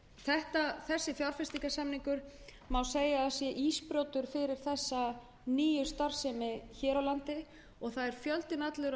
að þessi fjárfestingarsamningur sé ísbrjótur fyrir þessa nýju starfsemi hér á landi fjöldinn allur af fyrirtækjum hefur verið að